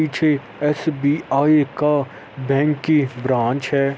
पीछे एस_बी_आई का बैंक की ब्रांच है।